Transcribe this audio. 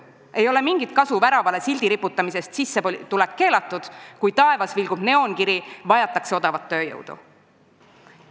Ei ole mingit kasu väravale sildi "Sissetulek keelatud" riputamisest, kui taevas vilgub neoonkiri "Vajatakse odavat tööjõudu".